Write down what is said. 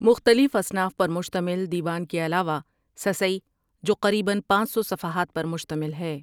مختلف اصناف پر مشتمل دیوان کے علاوہ سسّی جو قریباً پانچ سو صفحات پر مشتمل ہے ۔